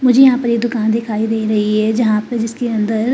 मुझे यहां पर ये दुकान दिखाई दे रही है जहां पे जिसके अंदर --